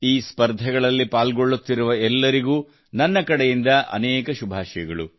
ಈ ಸ್ಪರ್ಧೆಗಳಲ್ಲಿ ಪಾಲ್ಗೊಳ್ಳುತ್ತಿರುವ ಎಲ್ಲರಿಗೂ ನನ್ನ ಕಡೆಯಿಂದ ಅನೇಕ ಶುಭಾಶಯಗಳು